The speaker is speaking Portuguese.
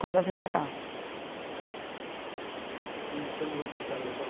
quando eu vim para cá. Uhum. E com quando você saiu da sua